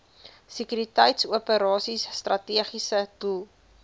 sekuriteitsoperasies strategiese doel